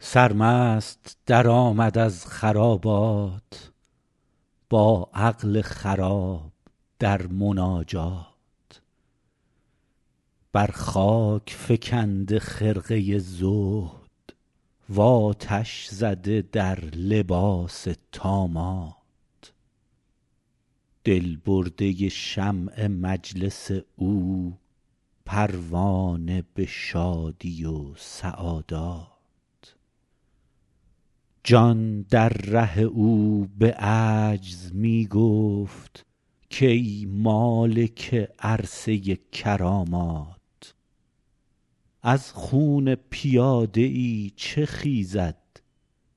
سرمست درآمد از خرابات با عقل خراب در مناجات بر خاک فکنده خرقه زهد و آتش زده در لباس طامات دل برده شمع مجلس او پروانه به شادی و سعادات جان در ره او به عجز می گفت کای مالک عرصه کرامات از خون پیاده ای چه خیزد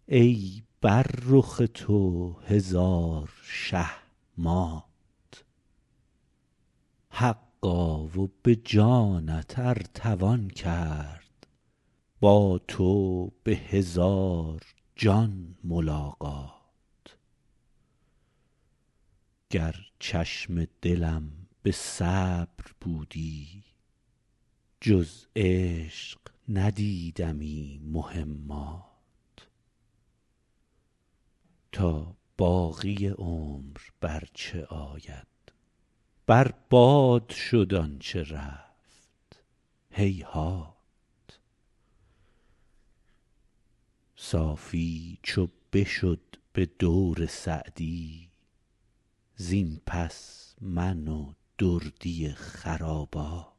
ای بر رخ تو هزار شه مات حقا و به جانت ار توان کرد با تو به هزار جان ملاقات گر چشم دلم به صبر بودی جز عشق ندیدمی مهمات تا باقی عمر بر چه آید بر باد شد آن چه رفت هیهات صافی چو بشد به دور سعدی زین پس من و دردی خرابات